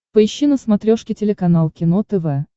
поищи на смотрешке телеканал кино тв